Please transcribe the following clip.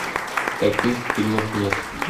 таких фильмов нет